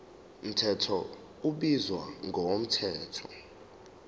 mthetho ubizwa ngomthetho